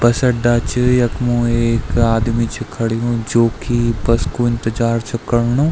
बस अड्डा च यख्मु एक आदमी च खडू जो की बस कु इन्तजार च कर्णु।